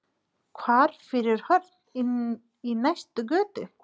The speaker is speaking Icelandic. Hvarf fyrir horn inn í næstu götu.